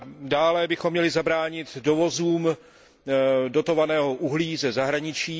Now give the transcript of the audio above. Dále bychom měli zabránit dovozům dotovaného uhlí ze zahraničí.